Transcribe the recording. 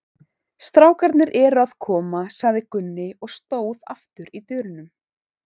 Strákarnir eru að koma, sagði Gunni og stóð aftur í dyrunum.